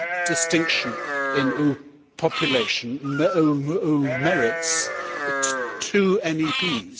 distinction in population merits two MEPs.